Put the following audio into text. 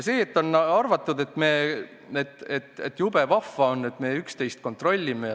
On väidetud, et jube vahva on, et me üksteist kontrollime.